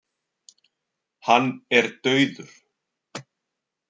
Hann er dauður.